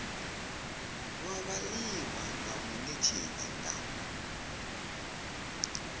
wa vhaliwa nga munetshedzi nga